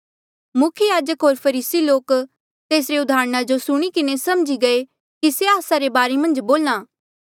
मुख्य याजक होर फरीसी लोक तेसरे उदाहरणा जो सुणी किन्हें समझी गये कि से आस्सा रे बारे मन्झ बोल्हा